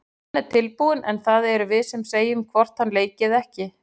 Hann er tilbúinn en það erum við sem segjum hvort hann leiki eða ekki.